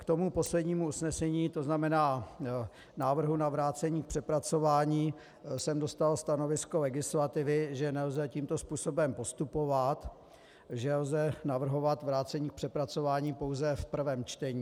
K tomu poslednímu usnesení, to znamená návrhu na vrácení k přepracování, jsem dostal stanovisko legislativy, že nelze tímto způsobem postupovat, že lze navrhovat vrácení k přepracování pouze v prvém čtení.